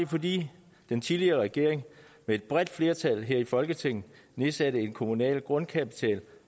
fordi den tidligere regering med et bredt flertal her i folketinget nedsatte den kommunale grundkapital